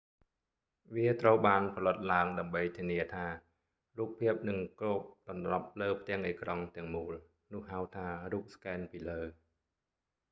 វាត្រូវបានផលិតឡើងដើម្បីធានាថា រូបភាពនឹងគ្របដណ្ដប់លើផ្ទាំងអេក្រង់ទាំងមូល នោះហៅថា រូបស្កែនពីលើ